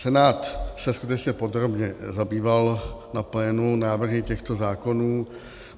Senát se skutečně podrobně zabýval na plénu návrhy těchto zákonů.